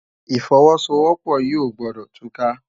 Ifòwòsówòpò yi ógbòdò túká